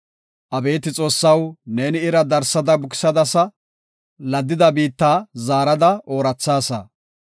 Abeeti Xoossaw neeni ira darsada bukisadasa; laddida biitta zaarada oorathaasa.